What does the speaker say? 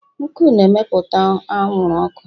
nkụ na-emepụta anwụrụ ọkụ.